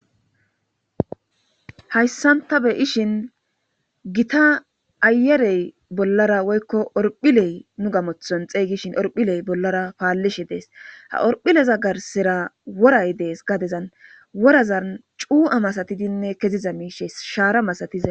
Hayssan ta be7ishin gita ayyerey bollara woykko orphiley nu gamothon xeegishin orphiley bollara paallishe dees. Ha orphileza garssera woray dees. Gadezan worazan cuu7a masatidinne keziza miishe shaara masatiza.